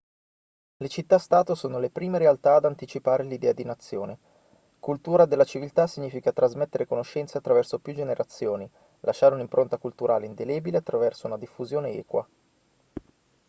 le città-stato sono le prime realtà ad anticipare l'idea di nazione cultura della civiltà significa trasmettere conoscenze attraverso più generazioni lasciare un'impronta culturale indelebile attraverso una diffusione equa